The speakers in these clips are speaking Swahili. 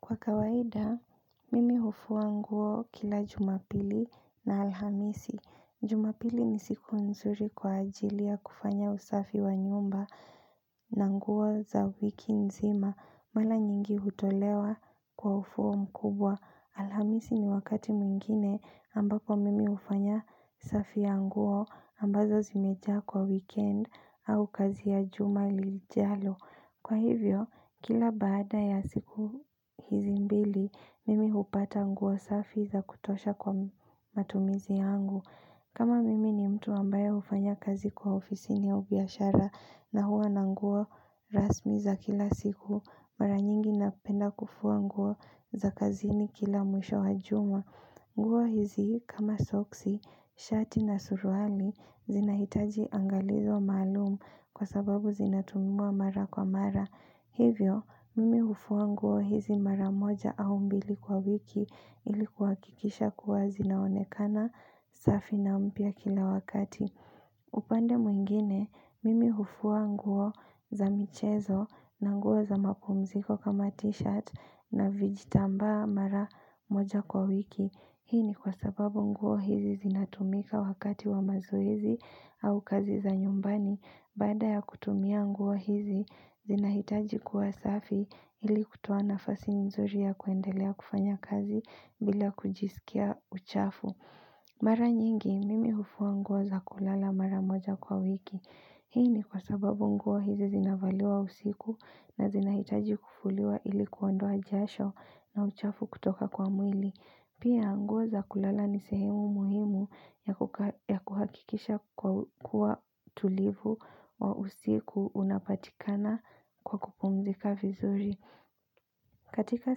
Kwa kawaida, mimi hufua nguo kila jumapili na alhamisi. Jumapili ni siku nzuri kwa ajili ya kufanya usafi wa nyumba na nguo za wiki nzima. Mala nyingi hutolewa kwa ufuo mkubwa. Alhamisi ni wakati mwingine ambako mimi hufanya usafi ya nguo ambazo zimejaa kwa weekend au kazi ya juma lijalo. Kwa hivyo, kila baada ya siku hizi mbili, mimi hupata nguo safi za kutosha kwa matumizi yangu. Kama mimi ni mtu ambayo hufanya kazi kwa ofisini au biashara na huwa na nguo rasmi za kila siku mara nyingi napenda kufua nguo za kazini kila mwisho wa juma. Nguo hizi kama soksi, shati na suruali zinahitaji angalizo malumu kwa sababu zinatumiwa mara kwa mara. Hivyo, mimi hufua nguo hizi mara moja au mbili kwa wiki ilikuwa kuhakikisha kuwa zinaonekana safi na mpya kila wakati. Upande mwingine, mimi hufua nguo za michezo na nguo za mapumziko kama t-shirt na vijitambaa mara moja kwa wiki Hii ni kwa sababu nguo hizi zinatumika wakati wa mazoezi au kazi za nyumbani Baada ya kutumia nguo hizi zinahitaji kuwa safi ili kutoa nafasi nzuri ya kuendelea kufanya kazi bila kujisikia uchafu Mara nyingi, mimi hufua nguo za kulala mara moja kwa wiki. Hii ni kwa sababu nguo hizi zinavaliwa usiku na zinahitaji kufuliwa ili kuondoa jasho na uchafu kutoka kwa mwili. Pia nguo za kulala ni sehemu muhimu ya kuhakikisha kuwa tulivu wa usiku unapatikana kwa kupumzika vizuri. Katika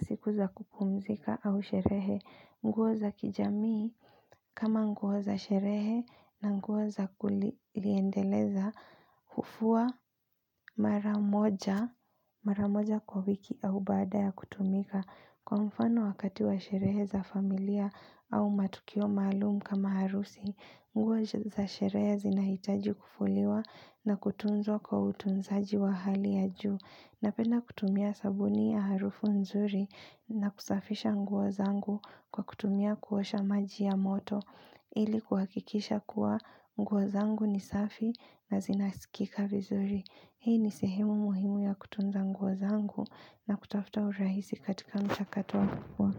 siku za kupumzika au sherehe, nguo za kijamii kama nguo za sherehe na nguo za kuliendeleza, hufua.mara mara moja kwa wiki au baada ya kutumika kwa mfano wakati wa sherehe za familia au matukio maalum kama harusi. Nguo za sherehe zinahitaji kufuliwa na kutunzwa kwa utunzaji wa hali ya juu. Napenda kutumia sabuni ya harufu nzuri na kusafisha nguo zangu kwa kutumia kuosha maji ya moto. Ili kuhakikisha kuwa nguo zangu ni safi na zinasikika vizuri. Hii ni sehemu muhimu ya kutunza nguo zangu na kutafuta urahisi katika mchakatu wa kufua.